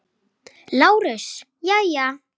LÁRUS: Jæja?